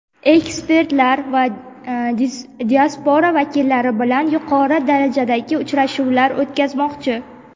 ekspertlar va diaspora vakillari bilan yuqori darajadagi uchrashuvlar o‘tkazmoqchi.